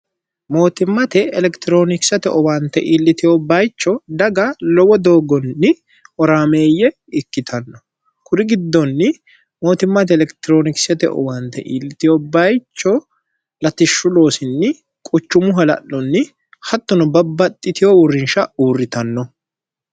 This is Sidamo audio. mootimmate elekitiroonikisate owaante iilliteho bayicho daga lowo dooggonni oraameeyye ikkitanno kuri giddonni mootimmate elekitiroonikisate owaante iillitiho bayicho latishshuloosinni quchumu hala'lunni hattono babbaxxitiho uurrinsha uurritanno